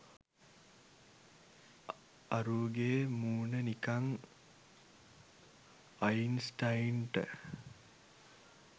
අරූගේ මූණ නිකන් අයින්ස්ටයින්ට